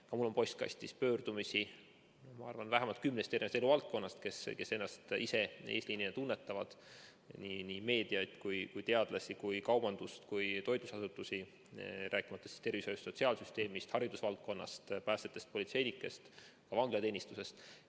Ka mul on postkastis pöördumisi, ma arvan, vähemalt kümnest eluvaldkonnast, kes ennast ise eesliinina tunnetavad: meedia, teadlased, kaubandus, toitlustusasutused, rääkimata tervishoiust, sotsiaalsüsteemist, haridusvaldkonnast, päästjatest, politseinikest, ka vanglateenistusest.